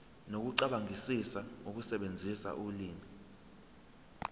nokucabangisisa ukusebenzisa ulimi